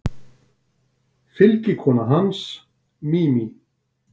Fylgikona hans, Mimi